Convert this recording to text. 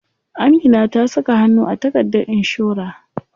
Amina ta saka hannu a takardar inshora.